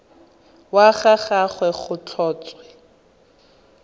wa ga gagwe go tlhotswe